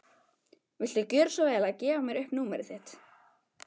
Viltu gjöra svo vel að gefa mér upp númerið þitt?